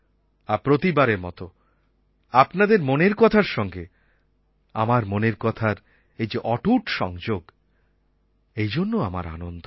আর প্রতিবারের মতো আপনাদের মনের কথার সঙ্গে আমার মনের কথার এই যে অটুট সংযোগ এই জন্য আমার আনন্দ